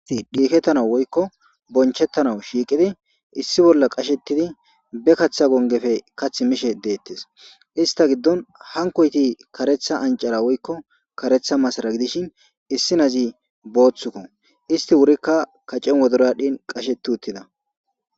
Dhiketanawu woyikko bonchchetanawu shiqqiddi issi bolla qachchettidd be kaththa bollappe kaththi mishshe detees.ista giddonni hanikoyitt kareththa aniccara woyikko kareththa masara gidishshinn issi nazi boththukko .isita wurikka kacenni wodoroyi adhdhnn qachchetti uttida.